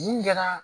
Mun kɛra